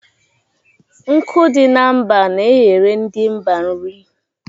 Nkụ dị na mba n'eghere ndi mba nri